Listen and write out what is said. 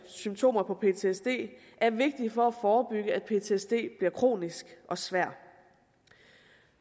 symptomer på ptsd er vigtig for at forebygge at ptsd bliver kronisk og svær